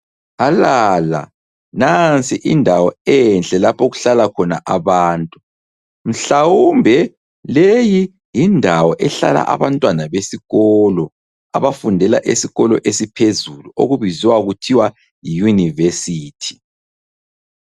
Alala nansi indawo enhle lapho okuhlala khona abantu, mhlawumbe leyi yindawo ehlala abantwana besikolo abafundela esikolo esiphezulu okubiziwa kuthiwa yiUniversity.